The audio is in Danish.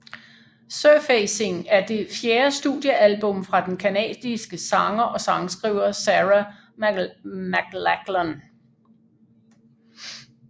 Surfacing er det fjerde studiealbum fra den canadiske sanger og sangskriver Sarah McLachlan